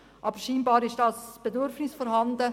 Aber scheinbar besteht eine Nachfrage.